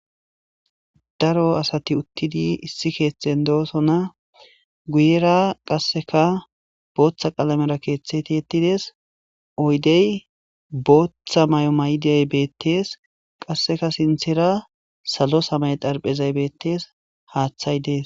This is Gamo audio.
daro asati uttidi issi keetheten doosona guyera qasseka booththa qaalamera keeththeti yettides oydey booththa may7o mayday beettees qasseka sinthera salo samey darphezay beettes haaththay dees